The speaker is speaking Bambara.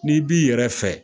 Ni b'i yɛrɛ fɛ.